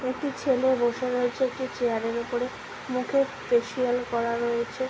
একটি ছেলে বসে রয়েছে একটি চেয়ার -এর ওপরে মুখে ফেসিয়াল করা রয়েছে ।